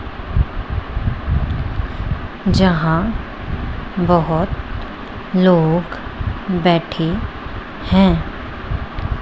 जहां बहुत लोग बैठे हैं।